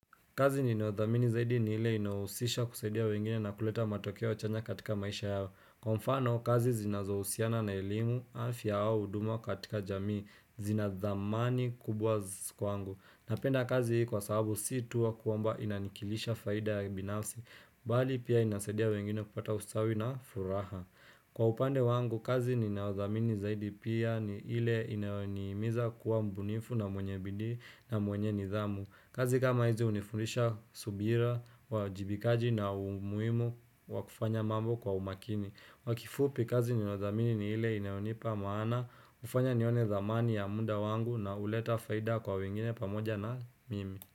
Kazi yenye wathamini zaidi ni ile inausisha kusaidia wengine na kuleta matokeo chanya katika maisha yao. Kwa mfano, kazi zinazohusiana na elimu, afya au uduma katika jamii, zina dhamani kubwa kwangu. Napenda kazi hii kwa sababu sii tu kwamba inanikilisha faida ya binafsi, bali pia inasaidia wengine kupata ustawi na furaha. Kwa upande wangu, kazi ni nayo dhamini zaidi pia ni ile inaonimiza kuwa mbunifu na mwenyebidii na mwenye nidhamu. Kazi kama hizi unifundisha subira, uwajibikaji na umuhimu wakufanya mambo kwa umakini. Kwakifupi kazi ninayo idhamini ni ile inayonipa maana, ufanya nione dhamani ya muda wangu na uleta faida kwa wengine pamoja na mimi.